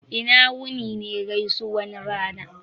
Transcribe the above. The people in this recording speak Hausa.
"ina wuni" ne gaisuwan rana